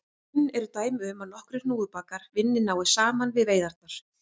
Kunn eru dæmi um að nokkrir hnúfubakar vinni náið saman við veiðarnar.